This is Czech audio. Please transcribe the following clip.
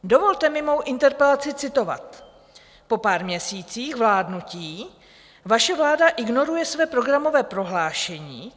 Dovolte mi mou interpelaci citovat: "Po pár měsících vládnutí vaše vláda ignoruje své programové prohlášení.